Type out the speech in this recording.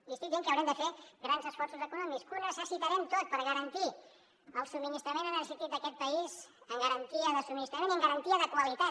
li estic dient que haurem de fer grans esforços econòmics que ho necessitarem tot per garantir el subministrament energètic d’aquest país amb garantia de subministrament i amb garantia de qualitat